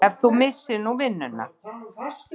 Ef þú missir nú vinnuna.